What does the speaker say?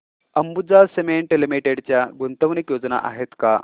Ambuja cement limited च्या गुंतवणूक योजना आहेत का